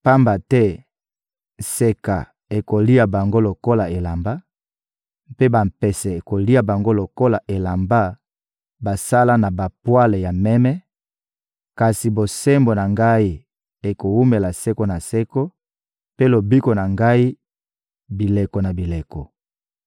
Pamba te nseka ekolia bango lokola elamba, mpe bampese ekolia bango lokola elamba basala na bapwale ya meme; kasi bosembo na ngai ekowumela seko na seko, mpe lobiko na ngai, bileko na bileko.»